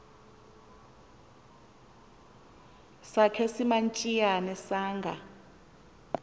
sakhe simantshiyane sanga